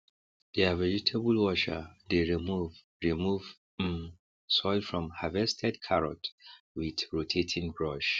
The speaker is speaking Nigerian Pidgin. deir vegetable washer dey remove remove um soil from harvested carrot with rotating brush